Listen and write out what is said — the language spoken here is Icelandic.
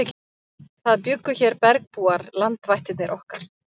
Það bjuggu hér bergbúar, landvættirnar okkar.